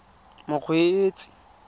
mokgweetsi